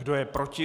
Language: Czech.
Kdo je proti?